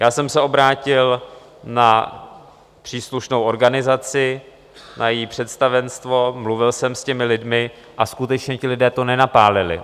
Já jsem se obrátil na příslušnou organizaci, na její představenstvo, mluvil jsem s těmi lidmi a skutečně, ti lidé to nenapálili.